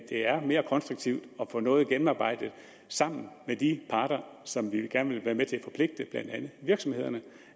er mere konstruktivt at få noget gennemarbejdet sammen med de parter som vi gerne vil være med til at forpligte blandt andet virksomhederne